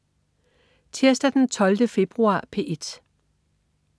Tirsdag den 12. februar - P1: